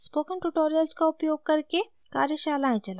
spoken tutorials का उपयोग करके कार्यशालाएं चलाती है